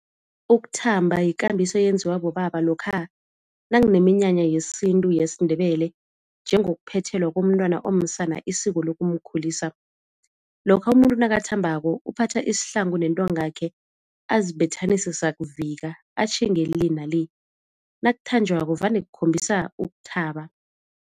Ukuthamba yikambiso eyenziwa bobaba lokha nakuneminyanya yesintu yesiNdebele njengokuphethelwa komntwana omsana isiko lokumkhulisa. Lokha umuntu nakathambako uphatha isihlangu nentongakhe azibethanise sakuvika, atjhinge le na le, nakuthanjwako vane kukhombisa ukuthaba.